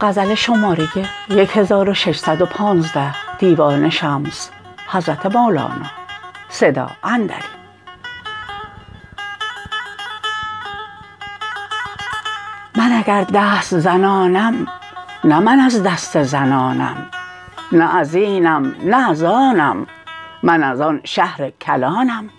من اگر دست زنانم نه من از دست زنانم نه از اینم نه از آنم من از آن شهر کلانم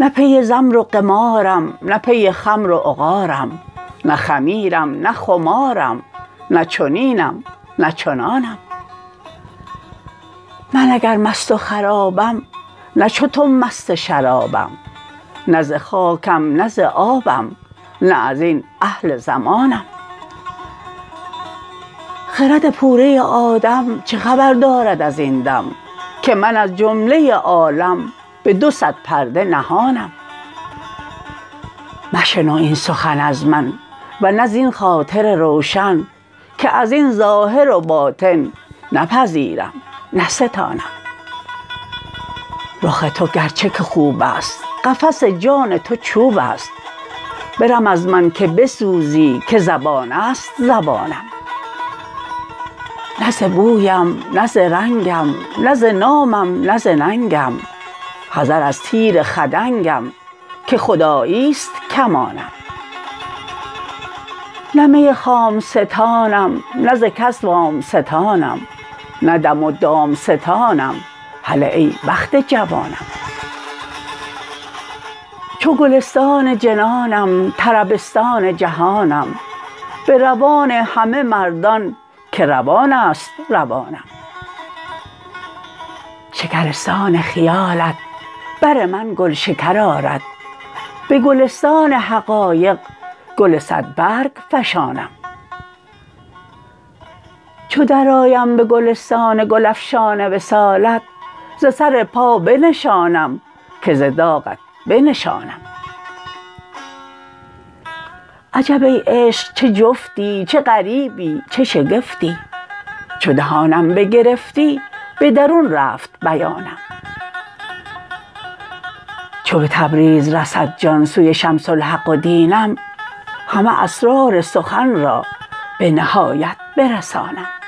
نه پی زمر و قمارم نه پی خمر و عقارم نه خمیرم نه خمارم نه چنینم نه چنانم من اگر مست و خرابم نه چو تو مست شرابم نه ز خاکم نه ز آبم نه از این اهل زمانم خرد پوره آدم چه خبر دارد از این دم که من از جمله عالم به دو صد پرده نهانم مشنو این سخن از من و نه زین خاطر روشن که از این ظاهر و باطن نه پذیرم نه ستانم رخ تو گرچه که خوب است قفس جان تو چوب است برم از من که بسوزی که زبانه ست زبانم نه ز بویم نه ز رنگم نه ز نامم نه ز ننگم حذر از تیر خدنگم که خدایی است کمانم نه می خام ستانم نه ز کس وام ستانم نه دم و دام ستانم هله ای بخت جوانم چو گلستان جنانم طربستان جهانم به روان همه مردان که روان است روانم شکرستان خیالت بر من گلشکر آرد به گلستان حقایق گل صدبرگ فشانم چو درآیم به گلستان گل افشان وصالت ز سر پا بنشانم که ز داغت به نشانم عجب ای عشق چه جفتی چه غریبی چه شگفتی چو دهانم بگرفتی به درون رفت بیانم چو به تبریز رسد جان سوی شمس الحق و دینم همه اسرار سخن را به نهایت برسانم